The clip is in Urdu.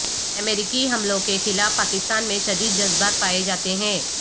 امریکی حملوں کے خلاف پاکستان میں شدید جذبات پائے جاتے ہیں